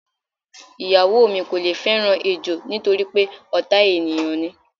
Ìyàwó mi kò le fé̩ràn ejò nítorí pé ò̩tá ènìyàn ni.